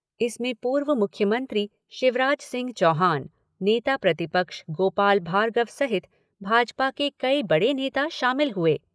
इसमें पूर्व मुख्यमंत्री शिवराज सिंह चौहान, नेता प्रतिपक्ष गोपाल भार्गव सहित भाजपा कई बड़े नेता शामिल हुए।